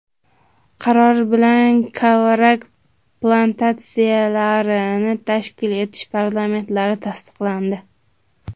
Qaror bilan kavrak plantatsiyalarini tashkil etish parametrlari tasdiqlandi.